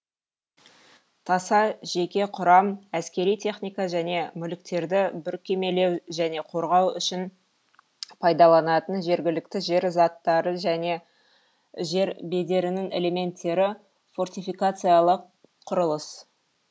таса жеке құрам әскери техника және мүліктерді бүркемелеу және қорғау үшін пайдаланатын жергілікті жер заттары және жер бедерінің элементтері фортификациялық құрылыс